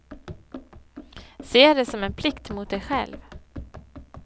Se det som en plikt mot dig själv.